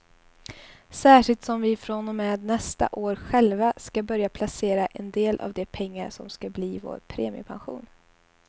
Särskilt som vi från och med nästa år själva ska börja placera en del av de pengar som ska bli vår premiepension.